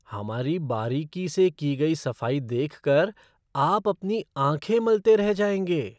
हमारी बारीकी से की गई सफ़ाई देखकर आप अपनी आँखें मलते रह जाएंगे।